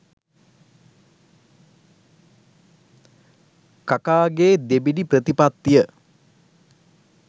කකාගේ දෙබිඩි ප්‍රතිපත්තිය.